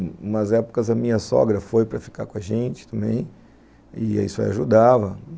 Numas épocas a minha sogra foi para ficar com a gente também, e isso ajudava.